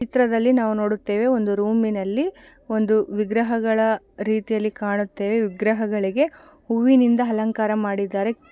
ಈ ಚಿತ್ರದಲ್ಲಿ ನಾವು ನೋಡುತ್ತೇವೆ ಒಂದು ರೂಮಿನಲ್ಲಿ ಒಂದು ವಿಗ್ರಹಗಳ ರೀತಿಯಲ್ಲಿ ಕಾಣುತ್ತೆ ವಿಗ್ರಹಗಳಿಗೆ ಹೂವಿನಿಂದ ಅಲಂಕಾರ ಮಾಡಿದ್ದಾರೆ.